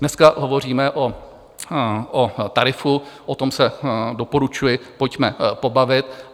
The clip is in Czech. Dneska hovoříme o tarifu, o tom se, doporučuji, pojďme pobavit.